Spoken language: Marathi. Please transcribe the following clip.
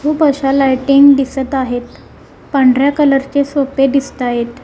खूप अशा लाइटिंग दिसत आहेत पांढऱ्या कलर चे सोपे दिसतायेत.